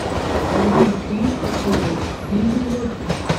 àwọn ipin okowo ní yúróòpù